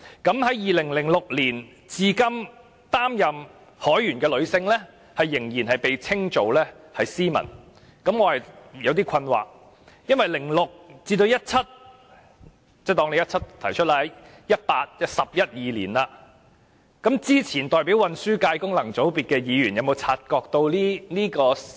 從2006年至今擔任海員的女性，仍然被稱為 "Seamen"， 這令我感到有點困惑，由2006年至2017年已有十一二年，之前代表運輸界功能界別的議員有否察覺到這問題？